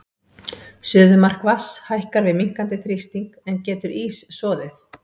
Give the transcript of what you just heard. Suðumark vatns lækkar við minnkandi þrýsting, en getur ís soðið?